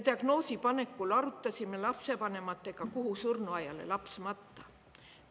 Diagnoosi panekul arutasime lapsevanematega, kuhu surnuaiale laps matta.